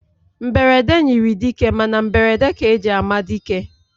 Mberede nyiri dike, Mana mberede ka eji ama dike